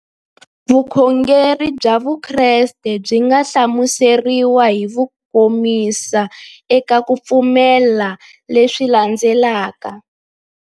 Vukhongeri bya Vukreste byi nga hlamuseriwa hi kukomisa eka ku pfumela leswi landzelaka.